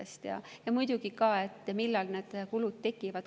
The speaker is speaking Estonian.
Muidugi ka seda, millal need kulud tekivad.